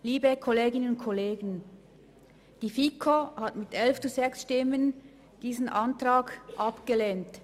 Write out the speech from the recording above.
Liebe Kolleginnen und Kollegen, die FiKo hat diesen Antrag mit 11 zu 6 Stimmen abgelehnt.